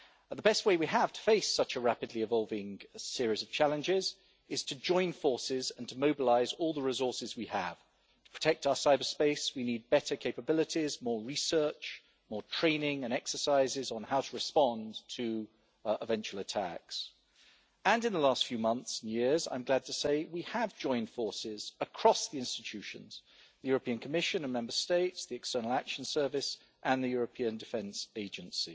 The best way we have to face such a rapidly evolving series of challenges is to join forces and to mobilise all the resources we have. To protect our cyberspace we need better capabilities, more research, more training and exercises on how to respond to eventual attacks, and in the last few months and years I'm glad to say we have joined forces across the institutions the European Commission and Member States, the External Action Service and the European Defence Agency